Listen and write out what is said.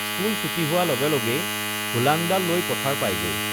school ছুটি হোৱা লগে লগেই হোলাংডাল লৈ পথাৰ পায়গৈ